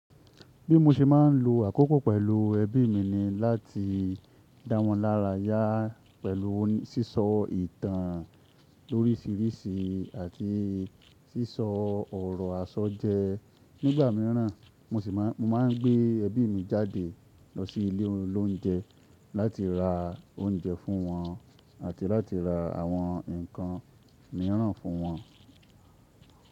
Bí mo ṣe máa ń lo àkókò pẹ̀lú ẹbí mi ni láti dáwọn lára yá pẹ̀lú sísọ ìtàn lórísìíríìsí àti sísọ ọ̀rọ̀ àsọ́jẹ. Nígbà míràn mo máà ń gbé ẹbí mi jáde lọ sí ilé oloúnjẹ láti ra oúnjẹ fún wọn àti láti ra àwọn ǹkan míràn fún wọn.